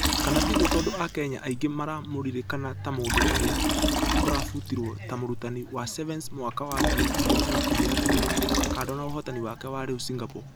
Kana tiguo tũndũ akenya aingĩ maramũririkana ta mũndũ ũrĩa ũrabutirwo ta mũrutani wa sevens mwaka wa ngiri igĩrĩ na ikũmi na ĩmwe kando na ũhotani wake wa rĩũ singapore.